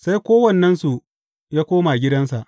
Sai kowannensu ya koma gidansa.